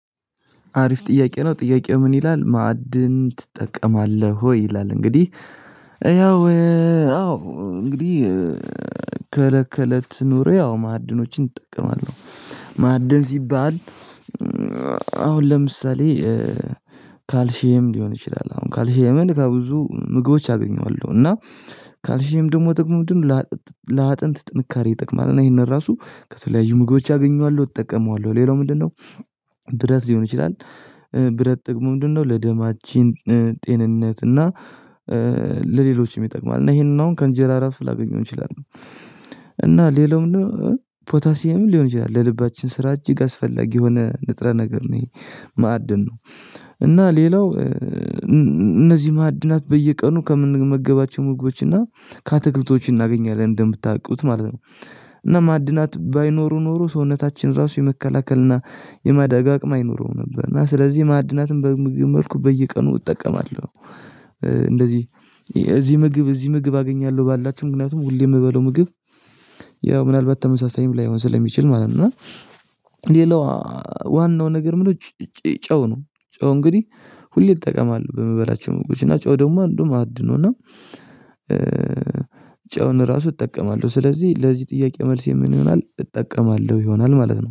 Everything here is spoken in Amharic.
አሪፍ ጥያቄ ነው ጥያቄው ምን ይላል ማዕድን ትጠቀማለህ? ወይ ይላል እንግዲህ ያው አዎ እንግዲህ ከለት ከለት ኑሮየ ያው ማዕድኖችን እጠቀማለሁ። ማዕድን ሲባል። አሁን ለምሳሌ ካልሼም ሊሆን ይችላል። አሁን ካልሼየምን ከብዙ ምግቦች አገኘዋለሁ። እና ካልሽም ደግሞ ጥቅም ለአጥንት ጥንካሬ ይጠቅማል። እና ይሄንን ራሱ ከተለያዩ ምግቦች አገኘዋለሁ እጠቀመዋለሁ ሌላው ምንድነው? ብረት ሊሆን ይችላል። ብረት ጥቅሙ ምንድነው ለደማችን ጤንነት እና ለሌሎችም ይጠቅማል። እና ይሄንን አሁን ከእንጀራ አራሱ ላገኘው እንችላለን። እና ሌላውም ነው ፖታሲየም ሊሆን ይችላል ለልባችን ስራ እጅግ አስፈላጊ የሆነ ንጥረ ነገር ነው። ይሄ ማዕድን ነው። እና ሌላው እነዚህ ማዕድናት በየቀኑ ከምንመገባቸው ሙግቦች እና ካትክልቶች እናገኛለን እንደምታውቁት ማለት ነው። እና ማዕድናት ባይኖሩ ኖሮ ሰውነታችን ራሱ የመከላከል እና የማደጋገም አይኖረውም ነበር። እና ስለዚህ ማዕድናትን በምግብ መልኩ በየቀኑ እጠቀማለሁ። እንደዚህ እዚህ ምግብ እዚህ ምግብ አገኛለሁ ባላቸው ምክንያቱም ሁሌ የምበለው ምግብ ያው ምናልባት ተመሳሳይም ላይሆን ስለሚችል ማለት ነው። እና ሌላው ዋናው ነገር ምንድነው? ጨው ነው። ጨው እንግዲህ ሁሌ ይጠቀማሉ በምበላቸው እና ናቸው ደግሞ አንዱም አድኖና። ጨውን ራሱ እጠቀማለሁ ስለዚህ ለዚህ ጥያቄ መልስ የምንሆነው ይሆናል እጠቀማለሁ ይሆናል ማለት ነው